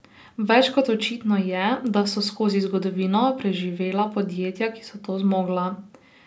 Več kot očitno je, da so skozi zgodovino preživela podjetja, ki so to zmogla.